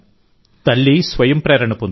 తల్లి స్వయం ప్రేరణ పొందుతుంది